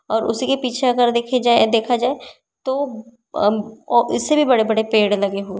और उसी के पीछे अगर देखी जाए देखा जाए तो अम्म ओ इससे भी बड़े बड़े पेड़ लगे हुए।